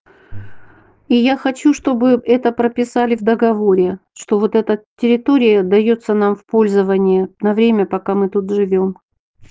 и я хочу чтобы это прописали в договоре что вот эта территория даётся нам в пользование на время пока мы тут живём